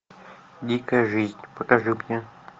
дикая жизнь покажи мне